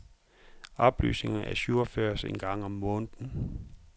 Oplysningerne ajourføres en gang om måneden.